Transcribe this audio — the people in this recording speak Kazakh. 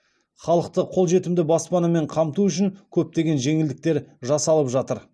халықты қолжетімді баспанамен қамту үшін көптеген жеңілдіктер жасалып жатыр